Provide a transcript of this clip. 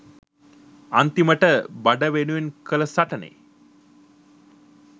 අන්තිමට බඩ වෙනුවෙන් කල සටනෙ